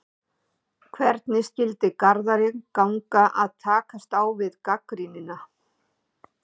Hvernig skyldi Garðari ganga að takast á við gagnrýnina?